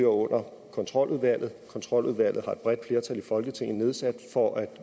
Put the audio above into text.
under kontroludvalget kontroludvalget har et bredt flertal i folketinget nedsat for at